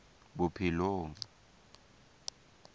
bophelong